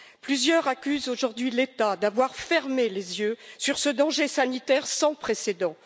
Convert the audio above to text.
Plusieurs accusent aujourd'hui l'État d'avoir fermé les yeux sur ce danger sanitaire sans précédent.